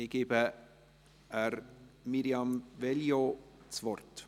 Ich gebe Mirjam Veglio das Wort.